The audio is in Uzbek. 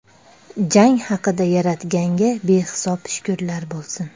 Jang haqida Yaratganga behisob shukrlar bo‘lsin.